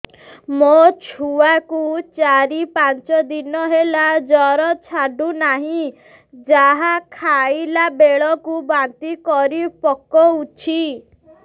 ମୋ ଛୁଆ କୁ ଚାର ପାଞ୍ଚ ଦିନ ହେଲା ଜର ଛାଡୁ ନାହିଁ ଯାହା ଖାଇଲା ବେଳକୁ ବାନ୍ତି କରି ପକଉଛି